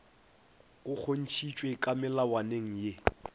go kgontšhitšwe ka melawaneng ye